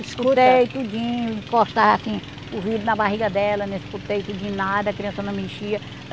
Escutei tudinho, encostar, assim, o vidro na barriga dela né, escutei tudinho, nada, a criança não me enxia.